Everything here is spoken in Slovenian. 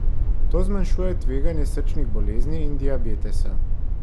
To zmanjšuje tveganje srčnih bolezni in diabetesa.